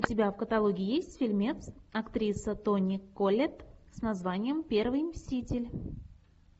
у тебя в каталоге есть фильмец актриса тони коллетт с названием первый мститель